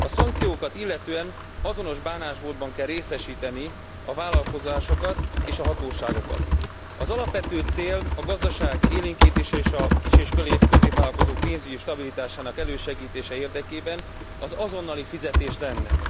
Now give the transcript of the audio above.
A szankciókat illetően azonos bánásmódban kell részesíteni a vállalkozásokat és a hatóságokat. Az alapvető cél a gazdaság élénkítése és a kis és középvállalkozók pénzügyi stabilitásának elősegítése érdekében az azonnali fizetés lenne.